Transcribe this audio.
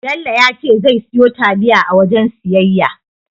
Bello ya ce zai siyo taliya a wajen siyayya.